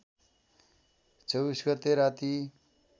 २४ गते राती